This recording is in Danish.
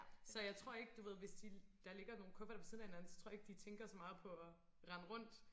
Så jeg tror ikke du ved hvis de der ligger nogle kufferter ved siden af hinanden så tror jeg ikke de tænker så meget på at rende rundt